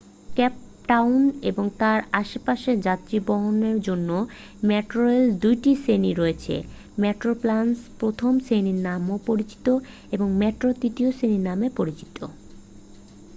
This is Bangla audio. কেপটাউন এবং তার আশেপাশের যাত্রীবহনের জন্য মেট্রোরেলের ২ টি শ্রেণি রয়েছে: মেট্রোপ্লাস প্রথম শ্রেণি নামেও পরিচিত এবং মেট্রো তৃতীয় শ্রেণি নামে পরিচিত।